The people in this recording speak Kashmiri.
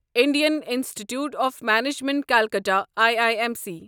Indian Institute of Management Calcutta I I M C